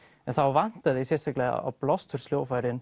en þá vantaði sérstaklega á